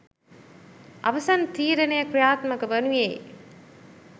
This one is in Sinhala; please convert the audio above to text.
අවසන් තීරණය ක්‍රියාත්මක වනුයේ